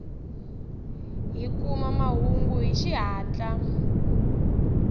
hi kuma mahungu hi xihatla